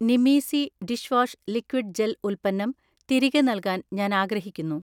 നിമീസി dish wash liquid gel ഉൽപ്പന്നം തിരികെ നൽകാൻ ഞാൻ ആഗ്രഹിക്കുന്നു